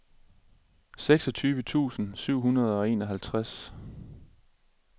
seksogtyve tusind syv hundrede og enoghalvtreds